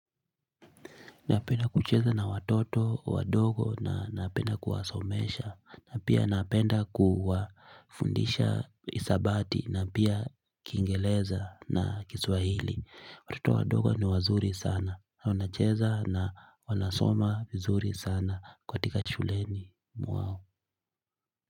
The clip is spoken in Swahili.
Napenda kucheza na watoto wadogo, na napenda kuwasomesha, na pia napenda kuwafundisha hesabati na pia Kiingereza na Kiswahili, watoto wadogo ni wazuri sana, wanacheza na wanasoma vizuri sana, katika shuleni mwao.